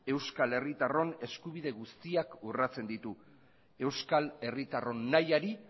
euskal herritarron eskubide guztiak urratzen ditu euskal herritarron nahiari